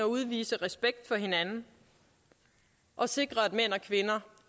udvise respekt for hinanden og sikre at mænd og kvinder